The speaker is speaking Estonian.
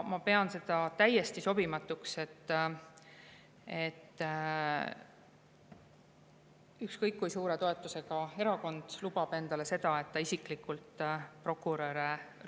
Ma pean seda täiesti sobimatuks, et ükskõik kui suure toetusega erakond lubab endale seda, et ta isiklikult ründab prokuröre.